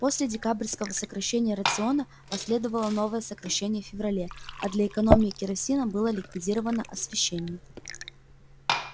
после декабрьского сокращения рациона последовало новое сокращение в феврале а для экономии керосина было ликвидировано освещение